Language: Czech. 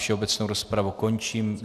Všeobecnou rozpravu končím.